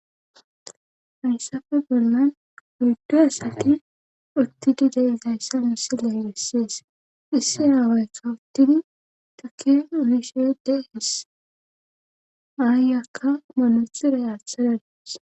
hayssafe bollan oyiddu asati uttidi de7izayssa missile gissees issi aawaykka uttin taki uhishedey his aayyakka manaxiray aaththada dawus.